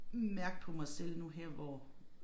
Mærke på mig selv nu her hvor